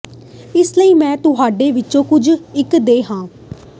ਇਸ ਲਈ ਮੈਂ ਤੁਹਾਡੇ ਵਿੱਚੋਂ ਕੁਝ ਇੱਕ ਦੇ ਹਾਂ